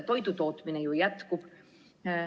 Toidu tootmine ju jätkub.